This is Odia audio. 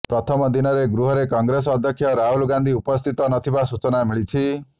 ପ୍ରଥମ ଦିନରେ ଗୃହରେ କଂଗ୍ରେସ ଅଧ୍ୟକ୍ଷ ରାହୁଲ ଗାନ୍ଧି ଉପସ୍ଥିତ ନଥିବା ସୂଚନା ମିଳିଛି